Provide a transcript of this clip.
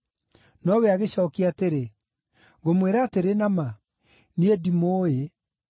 “Nowe agĩcookia atĩrĩ, ‘Ngũmwĩra atĩrĩ na ma, niĩ ndimũũĩ.’